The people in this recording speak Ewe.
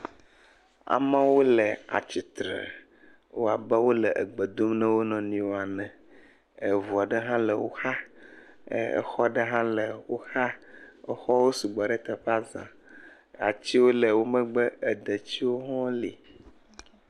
amewo le atsitre wowɔ abe wóle gbe dom na woniɔwo ene eʋua'ɖe hã le wó xa exɔ'ɖe hã le wó xa exɔwo sugbɔ ɖe teƒea za atiwo sɔgbɔ ɖe wó megbe detiwo li